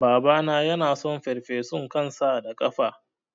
Babana yason farfesun kan sa da kafa